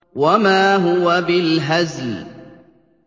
وَمَا هُوَ بِالْهَزْلِ